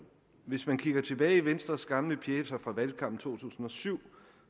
i venstres gamle pjecer fra valgkampen to tusind og syv